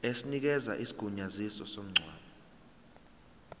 esinikeza isigunyaziso somngcwabo